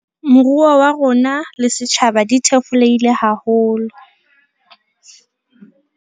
Moruo wa rona le setjhaba di thefulehile haholo.